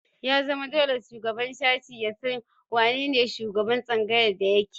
Ya zama dole shugaban sashe ya san wane ne shugaban tsangayar da yake